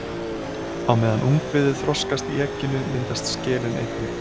Á meðan ungviðið þroskast í egginu myndast skelin einnig.